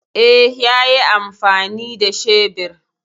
E, yayi amfani da shebir.